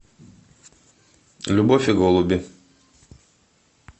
любовь и голуби